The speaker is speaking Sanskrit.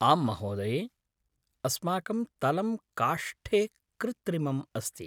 आम्महोदये! अस्माकं तलं काष्ठे कृत्रिमम् अस्ति।